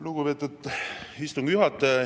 Lugupeetud istungi juhataja!